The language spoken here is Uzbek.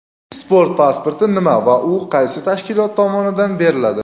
Sport pasporti nima va u qaysi tashkilot tomonidan beriladi?.